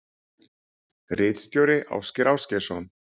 Ritstjóri Ásgeir Ásgeirsson.